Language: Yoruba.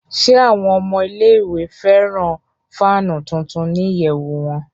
Ṣe awọn ọmọ ile-iwe fẹran faanu tuntun ni iyẹwu wọn?